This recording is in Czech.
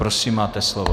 Prosím, máte slovo.